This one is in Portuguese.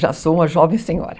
Já sou uma jovem senhora.